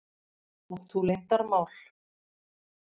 Átt þú leyndarmál?